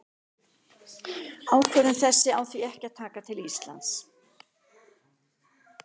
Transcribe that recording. Ákvörðun þessi á því ekki að taka til Íslands.